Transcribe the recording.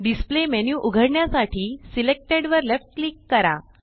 displayमेन्यू उघडण्यासाठी सिलेक्टेड वर left click करा